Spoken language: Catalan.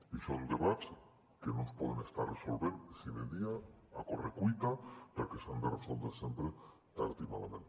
i són debats que no es poden estar resolent sine die a correcuita perquè s’han de resoldre sempre tard i malament